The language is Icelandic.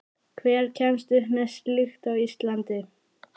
Hver kemst upp með slíkt á Íslandi?